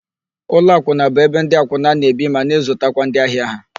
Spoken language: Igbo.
Ụlọakwụna bụ ebe ndị akwụna na-ebi ma na-ezutakwa ndị ahịa ha.